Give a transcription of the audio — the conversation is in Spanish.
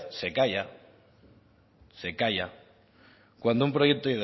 se calla cuando un proyecto